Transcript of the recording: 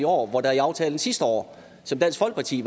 år hvor der i aftalen sidste år som dansk folkeparti